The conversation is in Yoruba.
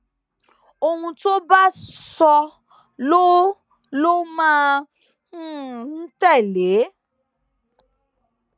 ohun tó bá sọ ló ló máa ń um tẹlé